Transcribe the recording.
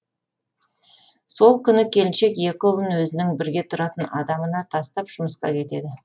сол күні келіншек екі ұлын өзінің бірге тұратын адамына тастап жұмысқа кетеді